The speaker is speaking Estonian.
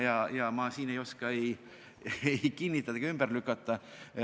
Ma ei oska siin midagi ei kinnitada ega ümber lükata.